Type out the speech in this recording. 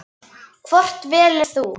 Hvort velur þú?